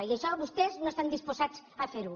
i això vostès no estan disposats a fer ho